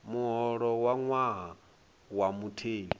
muholo wa ṅwaha wa mutheli